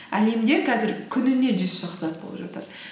әлемде қазір күніне жүз болып жатады